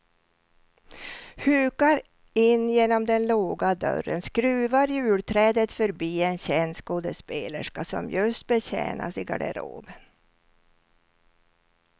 Hukar in genom den låga dörren, skruvar julträdet förbi en känd skådespelerska som just betjänas i garderoben.